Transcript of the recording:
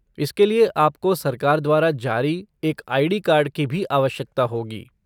इसके लिए आपको सरकार द्वारा जारी एक आई.डी. कार्ड की भी आवश्यकता होगी।